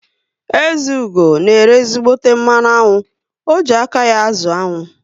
Ezeugo na ere ezígbóté mmanụ aṅụ, o ji aka ya azụ aṅụ